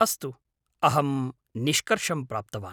अस्तु, अहं निष्कर्षं प्राप्तवान्।